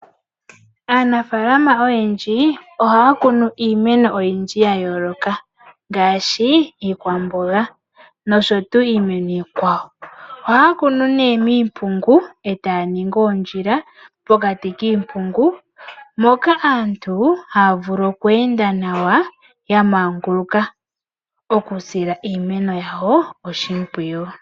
Aanafaalama oyendji ohaya kunu iimeno oyindji ya yooloka ngaashi iikwamboga noshowo iimeno iikwawo. Ohaya kunu nduno miimpungu e taya ningi oondjila pokati kiimpungu, mpoka aantu haya vulu okweenda nawa ya maanguluka taya sile iimeno yawo oshimpwiyu.